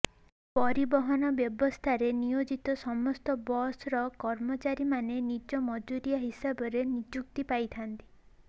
ପରିବହନ ବ୍ୟବସ୍ଥାରେ ନିୟୋଜିତ ସମସ୍ତ ବସ୍ ର କର୍ମଚାରୀମାନେ ଦିନ ମଜୁରିଆ ହିସାବରେ ନିଯୁକ୍ତି ପାଇଥାନ୍ତି